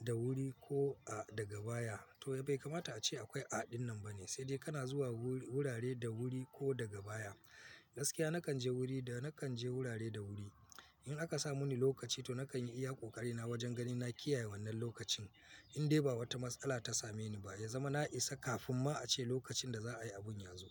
da wuri ko a daga baya. To, ai bai kamata ace akwai a'a din nan ba ne, sai dai kana zuwa wurare da wuri ko daga baya. Gaskiya nakan je wuri da nakan je wurare da wuri. In aka sa muni lokaci to nakan yi iya ƙoƙari na wajen ganin na kiyaye wannan lokacin. Indai ba wata matsala ta same ni ba, ya zama na isa kafin ma ace lokacin da za a yi abun ya zo.